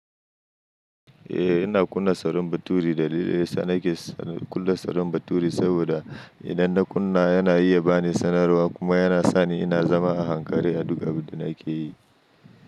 Eh, ina kunna sarin bature dalili sa nake kulle sarin bature saboda idan na kunna yana iya bani sanarwa kuma yana sani ina zama a ankare a duk abinda nake yi.